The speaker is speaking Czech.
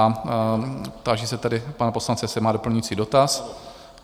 A táži se tedy pana poslance, jestli má doplňující dotaz?